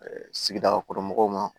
sigidakɔrɔ mɔgɔw ma